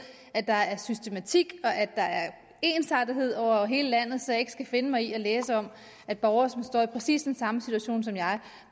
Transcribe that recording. at der er systematik og ensartethed over hele landet så jeg ikke skal finde mig i at læse om at borgere som står i præcis den samme situation som jeg